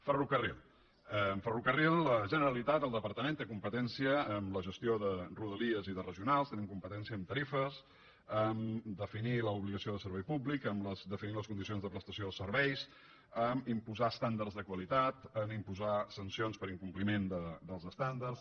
ferrocarril en ferrocarril la generalitat el departament té competència amb la gestió de rodalies i de regionals té competència amb tarifes amb definir l’obligació de servei públic amb definir les condicions de prestació dels serveis amb imposar estàndards de qualitat en imposar sancions per incompliment dels estàndards